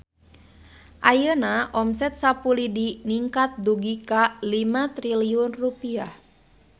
Ayeuna omset Sapu Lidi ningkat dugi ka 5 triliun rupiah